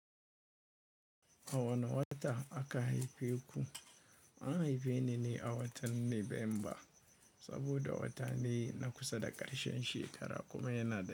A wane wata aka haife ku? An haife ni a watan November saboda wata ne na kusa da karshen shekara kuma yana da.